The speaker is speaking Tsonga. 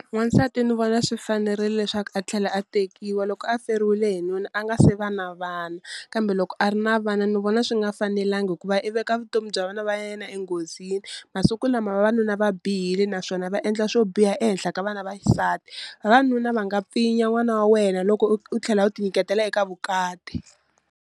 N'wansati ni vona swi fanerile leswaku a tlhela a tekiwa loko a feriwile hi nuna a nga se va na vana, kambe loko a ri na vana ni vona swi nga fanelangi hikuva i veka vutomi bya vana va yena enghozini, masiku lama vavanuna va bihile naswona va endla swo biha ehenhla ka vana va xisati, vavanuna va nga pfinya n'wana wa wena loko u tlhela u ti nyiketela eka vukati.